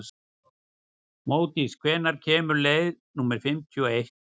Módís, hvenær kemur leið númer fimmtíu og eitt?